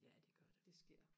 ja det gør det